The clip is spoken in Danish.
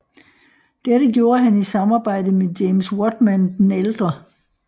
Dette gjorde han i samarbejde med James Whatman the Elder